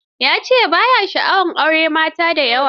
Ya ce ba ya sha'awar auren mata da yawa.